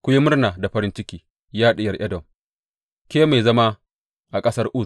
Ku yi murna da farin ciki, ya Diyar Edom, ke mai zama a ƙasar Uz.